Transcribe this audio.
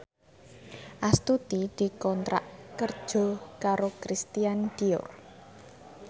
Astuti dikontrak kerja karo Christian Dior